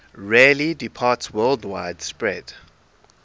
rarely departsworldwide spread